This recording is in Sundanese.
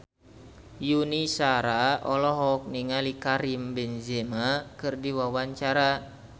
Yuni Shara olohok ningali Karim Benzema keur diwawancara